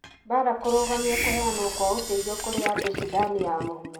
Mbara kũrũgamia kũheanwo kwa ũteithio kũrĩ andũ Sudan ya mũhuro.